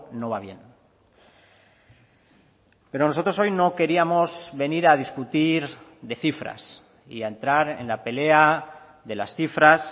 no va bien pero nosotros hoy no queríamos venir a discutir de cifras y a entrar en la pelea de las cifras